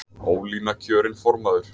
Ólína kjörin formaður